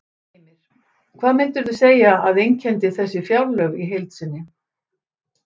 Heimir: Hvað myndirðu segja að einkenndi þessi fjárlög í heild sinni?